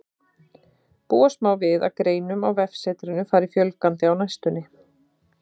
Búast má við að greinum á vefsetrinu fari fjölgandi á næstunni.